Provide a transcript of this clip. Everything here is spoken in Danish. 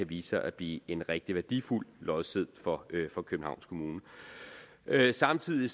vise sig at blive en rigtig værdifuld lodseddel for for københavns kommune samtidig